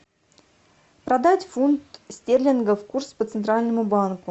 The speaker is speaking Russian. продать фунт стерлингов курс по центральному банку